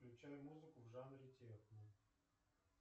включай музыку в жанре техно